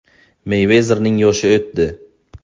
Meyvezerning yoshi o‘tdi.